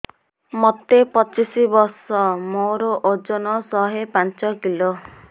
ମୋତେ ପଚିଶି ବର୍ଷ ମୋର ଓଜନ ଶହେ ପାଞ୍ଚ କିଲୋ